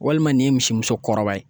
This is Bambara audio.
Walima nin ye misimuso kɔrɔba ye